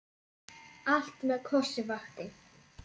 Allt með kossi vakti.